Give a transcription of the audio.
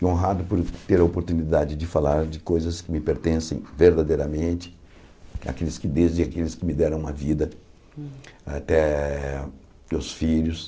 e honrado por ter a oportunidade de falar de coisas que me pertencem verdadeiramente, desde aqueles que me deram uma vida, até meus filhos.